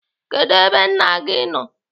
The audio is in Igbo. Kedụ ebe nne gị nọ?